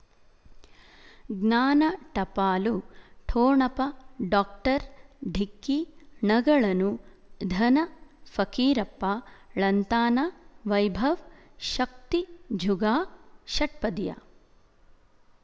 ಜ್ಞಾನ ಟಪಾಲು ಠೊಣಪ ಡಾಕ್ಟರ್ ಢಿಕ್ಕಿ ಣಗಳನು ಧನ ಫಕೀರಪ್ಪ ಳಂತಾನ ವೈಭವ್ ಶಕ್ತಿ ಝಗಾ ಷಟ್ಪದಿಯ